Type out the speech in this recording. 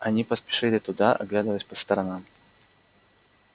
они поспешили туда оглядываясь по сторонам